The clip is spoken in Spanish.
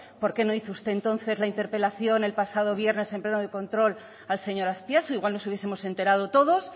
por qué no hizo usted entonces la interpelación el pasado viernes en pleno de control al señor azpiazu igual nos hubiesemos enterado todos